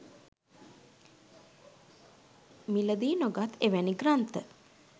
මිලදී නොගත් එවැනි ග්‍රන්ථ